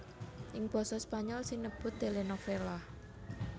Ing basa Spanyol sinebut télénovela